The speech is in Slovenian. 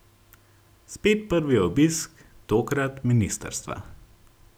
Spet prvi obisk, tokrat ministrstva.